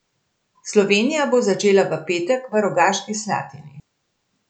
Slovenija bo začela v petek v Rogaški Slatini.